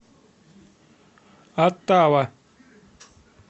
оттава